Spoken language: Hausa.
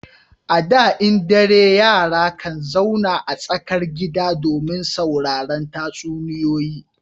A da in dare yara kan zauna a tsakar gida domin sauraran tatsuniyoyi